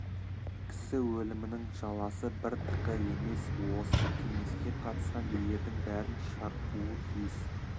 кісі өлімінің жаласы бір тықы емес осы кеңеске қатысқан билердің бәрін шарпуы тиіс